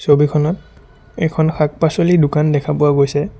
ছবিখনত এখন শাক পাছলিৰ দোকান দেখা পোৱা গৈছে।